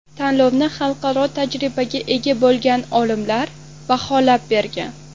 Tanlovni xalqaro tajribaga ega bo‘lgan olimlar baholab borgan.